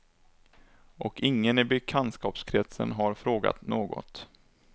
Och ingen i bekantskapskretsen har frågat något.